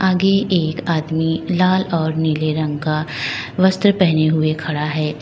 आगे एक आदमी लाल और नीले रंग का वस्त्र पहने हुए खड़ा है।